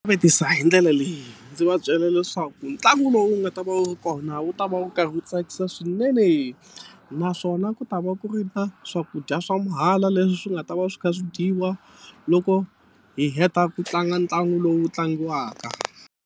Vutisa hi ndlela leyi ndzi va byela leswaku ntlangu lowu wu nga ta va wu ri kona wu ta va wu karhi wu tsakisa swinene naswona ku ta va ku ri na swakudya swa mahala leswi swi nga ta va swi kha swi dyiwa loko hi heta ku tlanga ntlangu lowu tlangiwaka.